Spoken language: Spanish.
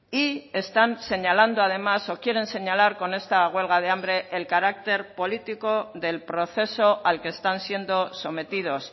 y están señalando además o quieren señalar con esta huelga de hambre el carácter político del proceso al que están siendo sometidos